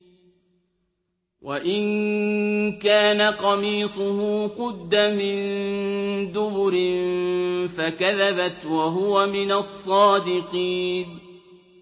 وَإِن كَانَ قَمِيصُهُ قُدَّ مِن دُبُرٍ فَكَذَبَتْ وَهُوَ مِنَ الصَّادِقِينَ